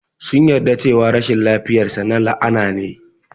Sun yarda cewa rashin lafiyar sa na la'ana ne.